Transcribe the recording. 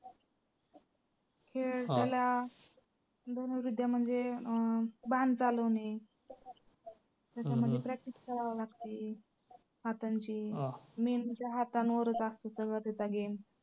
खेळ आपल्याला धनुर्विद्या म्हणजे अं बाण चालवणे. त्याच्यामध्ये practice करावी लागते हातांची main म्हणजे हातांवरच असतं सगळं तिथं game